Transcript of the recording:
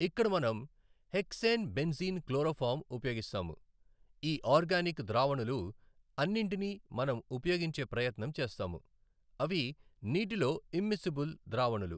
ఇక్కడ మనం hexane benzene chloroform ఉపయోగిస్తాము. ఈ ఆర్గానిక్ ద్రావణులు అన్నింటినీ మనం ఉపయోగించే ప్రయత్నం చేస్తాము. అవి నీటిలో ఇమ్మిసిబుల్ ద్రావణులు.